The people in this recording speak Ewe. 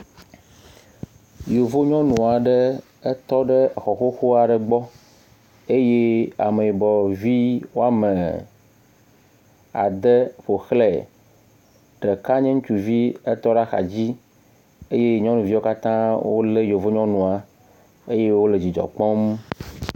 Yovonyɔnu aɖe etɔ ɖe xɔ xoxo aɖe gbɔ eye ameyibɔvi woame ade ƒoxlɛ. Ɖeka nye ŋutsuvi etɔ ɖe axa dzi eye nyɔnuviwo katã wole yovonyɔnua eye wole dzidzɔ kpɔm.